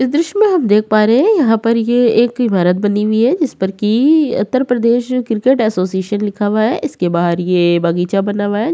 इस दृश्य में हम देख पा रहे हैं यहाँ पर ये इमारत बनी हुई है जिस पर कि उत्तर प्रदेश क्रिकेट एसोसिएशन लिखा हुआ है। इसके बाहर ये बगीचा बना हुआ है।